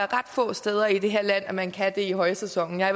ret få steder i det her land man kan det i højsæsonen jeg